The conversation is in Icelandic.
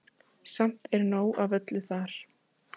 Samt er nóg af öllu þar.